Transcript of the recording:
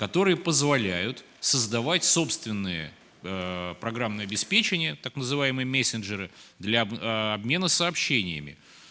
которые позволяют создавать собственные программные обеспечения так называемые мессенджеры для обмена сообщениями